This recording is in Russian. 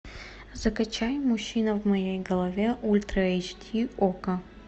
закачай мужчина в моей голове ультра эйч ди окко